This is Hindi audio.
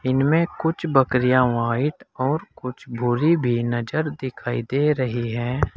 इनमें कुछ बकरिया व्हाइट और कुछ भूरी भी नजर दिखाई दे रही है।